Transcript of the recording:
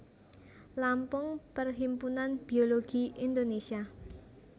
Lampung Perhimpunan Biologi Indonesia